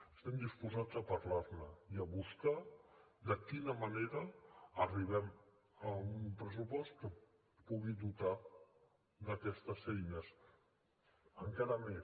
estem dipositats a parlar ne i a buscar de quina manera arribem a un pressupost que pugui dotar d’aquestes eines encara més